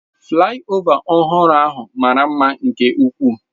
Flaịova ọhụrụ ahụ mara mma nke ukwuu.